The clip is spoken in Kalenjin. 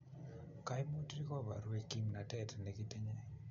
kaimutik kobarwech kimnatet nekitinye